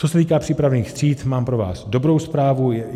Co se týká přípravných tříd, mám pro vás dobrou zprávu.